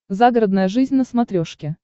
загородная жизнь на смотрешке